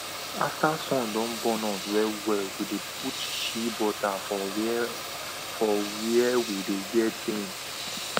after sun don burn us wellwell we dey put shea butter for where for where we dey get pain